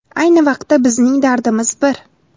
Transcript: Ayni vaqtda, bizning dardimiz bir.